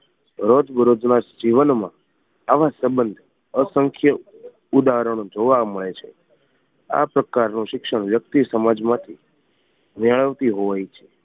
રોજબરોજ ના જીવન માં આવા સંબંધ અસંખ્ય ઉદાહરણો જોવા મળે છે આ પ્રકાર ની શિક્ષણ વ્યક્તિ સમાજમાંથી મેળવતી હોય છે